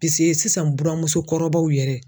Pise sisan buramuso kɔrɔbaw yɛrɛ